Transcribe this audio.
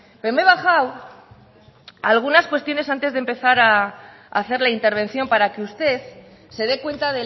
pero me he bajado algunas cuestiones antes de empezar a hacer la intervención para que usted se dé cuenta